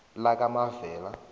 lakamavela